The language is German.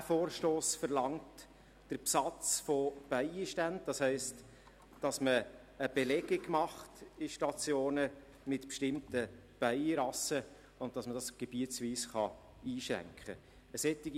Dieser Vorstoss hat den Besatz von Bienenbeständen verlangt, das heisst, dass man in Stationen eine Belegung mit bestimmten Bienenrassen macht und dass man dies gebietsweise einschränken kann.